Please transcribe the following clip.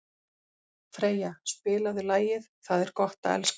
Freyja, spilaðu lagið „Það er gott að elska“.